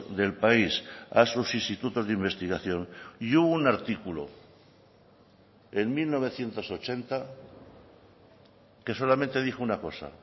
del país a sus institutos de investigación y hubo un artículo en mil novecientos ochenta que solamente dijo una cosa